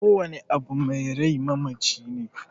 Kowane abu mai rai mamaci ne